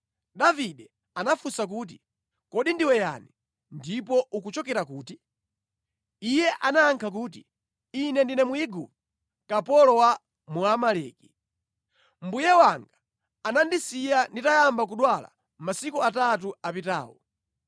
Davide anafunsa kuti, “Kodi ndiwe yani, ndipo ukuchokera kuti?” Iye anayankha kuti, “Ine ndine Mwigupto, kapolo wa Mwamaleki. Mbuye wanga anandisiya nditayamba kudwala masiku atatu apitawo.